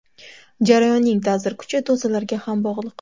Jarayonning ta’sir kuchi dozalarga ham bog‘liq.